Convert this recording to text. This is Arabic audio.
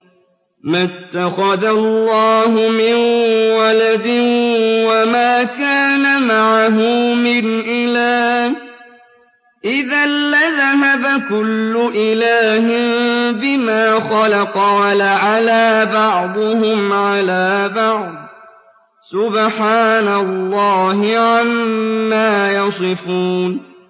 مَا اتَّخَذَ اللَّهُ مِن وَلَدٍ وَمَا كَانَ مَعَهُ مِنْ إِلَٰهٍ ۚ إِذًا لَّذَهَبَ كُلُّ إِلَٰهٍ بِمَا خَلَقَ وَلَعَلَا بَعْضُهُمْ عَلَىٰ بَعْضٍ ۚ سُبْحَانَ اللَّهِ عَمَّا يَصِفُونَ